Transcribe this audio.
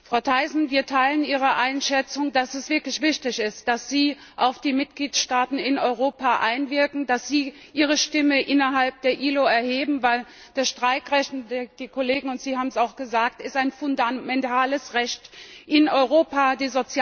Frau Thyssen, wir teilen Ihre Einschätzung, dass es wirklich wichtig ist, dass Sie auf die Mitgliedstaaten in Europa einwirken und dass Sie Ihre Stimme innerhalb der ILO erheben, weil das Streikrecht und die Kollegen und Sie haben es auch gesagt ein fundamentales Recht in Europa ist.